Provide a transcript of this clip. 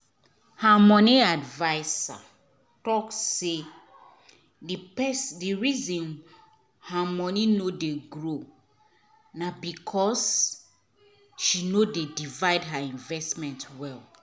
her money adviser talk say the the reason her money no dey grow na because she no divide her investment well.